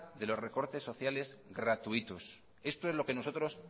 de los recortes sociales gratuitos esto es lo que nosotros